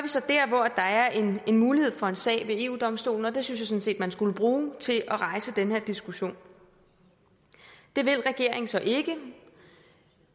mulighed for en sag ved eu domstolen og den synes jeg sådan set man skulle bruge til at rejse den her diskussion det vil regeringen så ikke